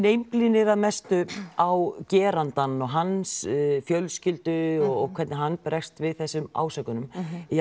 einblínir að mestu á gerandann og hans fjölskyldu og hvernig hann bregst við þessum ásökunum